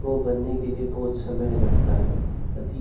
को बनने के लिए बहुत समय लगता है अधिक--